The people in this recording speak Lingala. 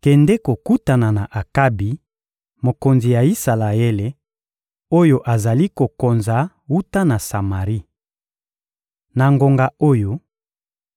«Kende kokutana na Akabi, mokonzi ya Isalaele, oyo azali kokonza wuta na Samari. Na ngonga oyo,